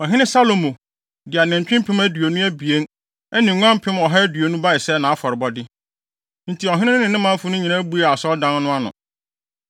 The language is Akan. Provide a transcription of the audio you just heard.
Ɔhene Salomo de anantwi mpem aduonu abien ne nguan mpem ɔha aduonu bae sɛ nʼafɔrebɔde. Enti ɔhene no ne manfo no nyinaa buee Onyankopɔn Asɔredan no ano.